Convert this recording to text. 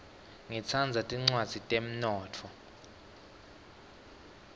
ngitsandza tincwadzi tetemnotfo